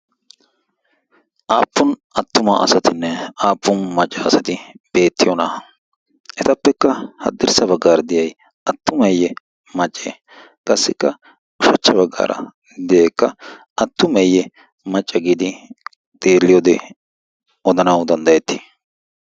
aappun attuma asatinne aappun macca asati beettiyonaaa etappekka haddirssa baggaara diyay attumeeyye macce qassikka ushachcha baggaara deyeekka attumeeyye macca giidi xeelliyoode odanawu danddayettii